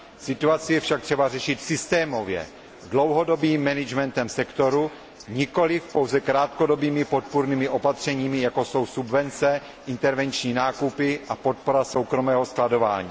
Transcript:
Situaci je však třeba řešit systémově dlouhodobým řízením sektoru, nikoli pouze krátkodobými podpůrnými opatřeními, jako jsou subvence, intervenční nákupy a podpora soukromého skladování.